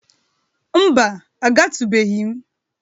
Mba, agatụbeghi m.